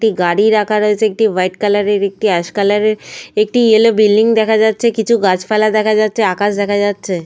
কয়েকটি গাড়ি রাখা রয়েছে। একটি ওয়াইট কালার -এর একটি অ্যাশ কালার -এর। একটি ইয়েলো বিল্ডিং দেখা যাচ্ছে। কিছু গাছ পালা দেখা যাচ্ছে। আকাশ দেখা যাচ্ছে।